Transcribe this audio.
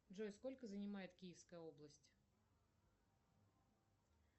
джой сколько занимает киевская область